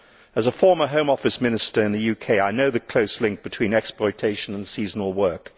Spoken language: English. As a former Home Office Minister in the UK, I know the close link between exploitation and seasonal work.